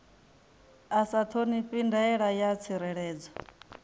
a sa ṱhonifhi ndaela ya tsireledzo